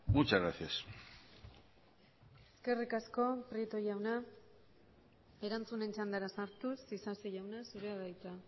muchas gracias eskerrik asko prieto jauna erantzunen txandara sartuz isasi jauna zurea da hitza